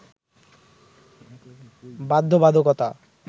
বাধ্যবাধকতা